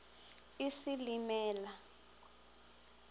isilimela